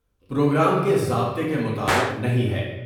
Programme کے ضابطے کے مطابق نہیں ہے ۔